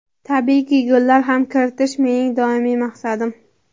Tabiiyki, gollar ham kiritish mening doimiy maqsadim.